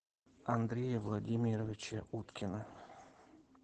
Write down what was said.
андрея владимировича уткина